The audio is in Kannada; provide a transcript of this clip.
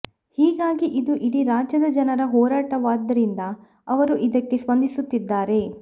ಹೀಗಾಗಿ ಇದು ಇಡೀ ರಾಜ್ಯದ ಜನರ ಹೋರಾಟವಾದ್ದರಿಂದ ಅವರು ಇದಕ್ಕೆ ಸ್ಪಂದಿಸುತ್ತಿದ್ದಾರೆ